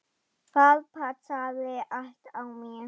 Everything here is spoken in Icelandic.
Það passaði allt á mig.